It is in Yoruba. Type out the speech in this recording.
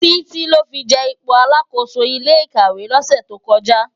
Titi lò fi je ipó àlákósó ilé ikàwé lòsè tókòjá